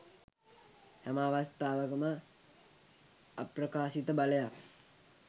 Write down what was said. හැම අවස්තාවකම අප්‍රකාශිත බලයක්